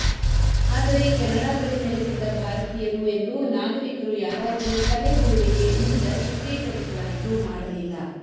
ಆದರೆ ಕೆನಡಾದಲ್ಲಿ ನೆಲೆಸಿದ್ದ ಭಾರತೀಯರು ಎಂದು ನಾಗರಿಕರು ಯಾರಾದರೂ ತಲೆಬುರುಡೆಗೆ ನಿಂದ ಚಿತ್ರೀಕರಿಸಲಾಯಿತು ಮಾಡಲಿಲ್ಲ